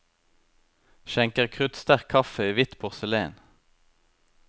Skjenker kruttsterk kaffe i hvitt porselen.